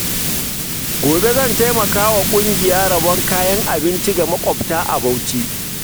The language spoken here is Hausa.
Gobe zan taimaka wa ƙungiya rabon kayan abinci ga mabukata a Bauchi.